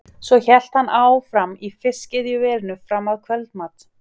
Svo hélt hann áfram í Fiskiðjuverinu fram að kvöldmat.